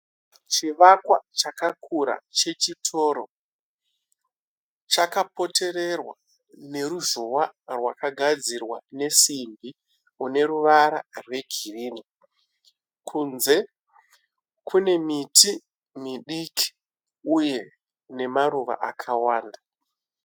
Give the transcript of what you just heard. Chivakwa chakakura chechitoro chakapotererwa neruzhowa rwakagadzirwa nesimbi ineruvara rwegirini kunze kune miti midiki uye namaruva akawanda.